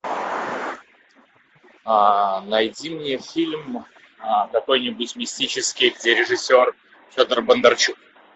найди мне фильм какой нибудь мистический где режиссер федор бондарчук